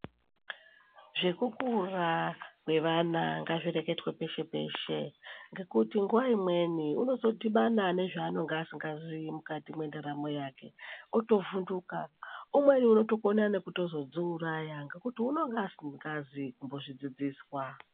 Zvekukura kwevana ngazvireketwe peshe peshe ngekuti nguwa imweni unozondibana nezvanonga asingaziyi mukati mwendaramo yake, otovhudhuka, umweni unozotokona nekuto zodziuraya ngekuti unonga asikazi kumbo zvidzidziswa.